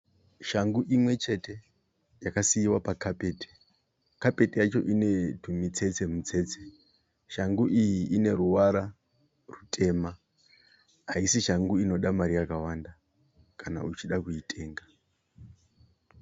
Shangu imwechete yakaiswa pakapeti. Kapeti yacho inetumutsetse mutsetse. Shangu iyi ineruvara rwutema, haisi shangu inoda mari yakawanda kana uchida kuitenga.